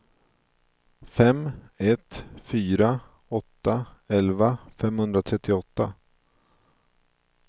fem ett fyra åtta elva femhundratrettioåtta